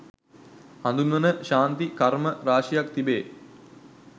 හදුන්වන ශාන්ති කර්ම රාශියක් තිබේ.